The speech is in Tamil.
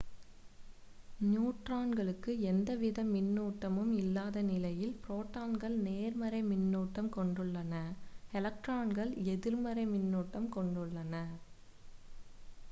நியூட்ரான்களுக்கு எந்த வித மின்னூட்டமும் இல்லாத நிலையில் ப்ரோட்டான்கள் நேர்மறை மின்னுட்டம் கொண்டுள்ளன எலக்ட்ரான்கள் எதிர்மறை மின்னூட்டம் கொண்டுள்ளன